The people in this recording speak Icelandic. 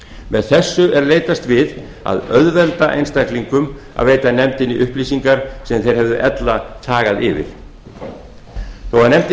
með þessu er leitast við að auðvelda einstaklingum að veita nefndinni upplýsingar sem þeir hefðu ella þagað yfir þó að nefndinni